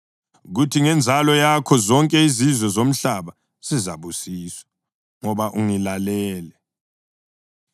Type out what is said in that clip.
kuthi ngenzalo yakho zonke izizwe zomhlaba zizabusiswa, ngoba ungilalele.”